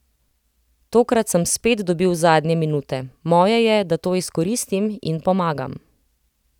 Tokrat sem spet dobil zadnje minute, moje je, da to izkoristim in pomagam.